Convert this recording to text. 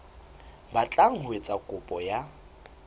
batlang ho etsa kopo ya